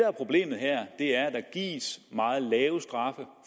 er problemet her er at der gives meget lave straffe